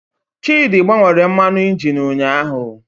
Chidị gbanwere mmanụ injin ụnyahụ